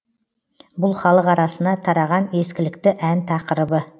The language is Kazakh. бұл халық арасына тараған ескілікті ән тақырыбы